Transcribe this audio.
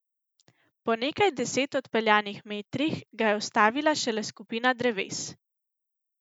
Po nekaj deset odpeljanih metrih ga je ustavila šele skupina dreves.